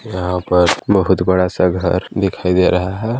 यहां पर बहुत बड़ा सा घर दिखाई दे रहा है।